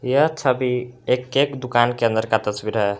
यह छवि एक केक दुकान के अंदर का तस्वीर है।